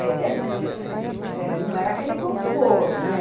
Quer dizer, eh não era aquele conforto, né?